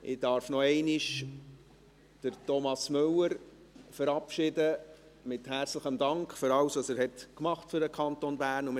Ich darf noch einmal Thomas Müller verabschieden, mit herzlichem Dank für alles, was er für den Kanton Bern getan hat.